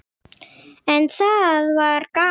En það var gaman.